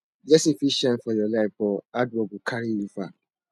blessing fit shine for your life but hard work go carry you far